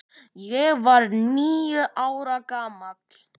Ég var níu ára gamall.